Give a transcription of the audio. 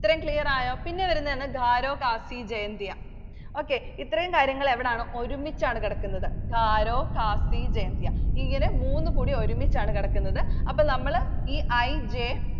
ഇത്രയും Clear ആയോ? പിന്നെ വരുന്നത് Garo, Khasi, Jaintia. okay ഇത്രയും കാര്യങ്ങൾ എവിടാണ്. ഒരുമിച്ചാണ് കിടക്കുന്നത്. Garo, Khasi, Jaintia. ഇങ്ങനെ മൂന്നുംകൂടി ഒരുമിച്ചാണ് കിടക്കുന്നത്. അപ്പൊ നമ്മൾ ഈ I, J